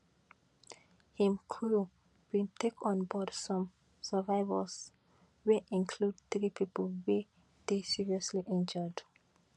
im crew bin take on board some survivors wey include three pipo wey dey seriously injured